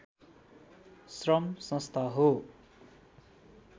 श्रम संस्था हो